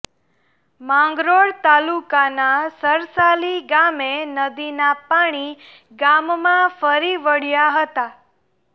માંગરોળ તાલુકાના સરસાલી ગામે નદીના પાણી ગામમાં ફરીવળ્યા હતા